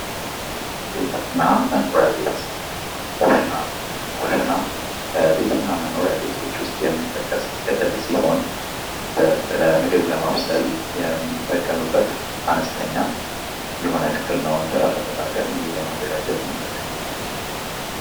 ቤትና መኖሪያ ቤት ኮሽና ኩሽና ከቤትና መኖሪያ ቤቶች ውስጥ የሚጠቀስ ክፍል ሲሆን ለምግብ ለማብሰል የምንጠቀምበት አነስተኛ የሆነ ክፍል ነው እንጀራ ለመጋገር ምግብ ለማዘጋጀት ትንጠቀመዋለን ::